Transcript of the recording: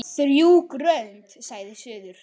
Þrjú grönd sagði suður.